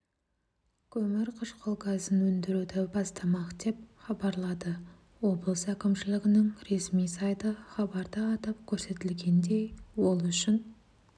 көмірқышқыл газын өндіруді бастамақ деп хабарлады облыс әкімшілігінің ресми сайты хабарда атап көрсетілгендей ол үшін